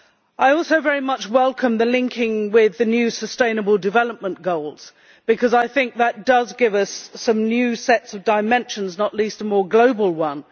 I also very much welcome the linking with the new Sustainable Development Goals because I think that gives us some new sets of dimensions, not least a more global one.